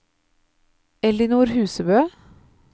Ellinor Husebø